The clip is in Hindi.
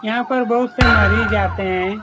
यहाँ पर बहुत से मरीज आते हैं।